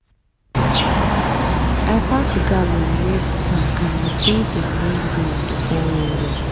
i pack gallon near the tank and i full dem when rain dey fall well well.